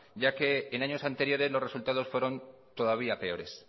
ya que en años anteriores los resultados fueron todavía peores